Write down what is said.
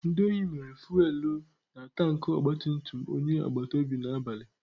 Ndị ohi mịrị fuwelu na tanki ogbatumtum onye agbatobi n'abalị.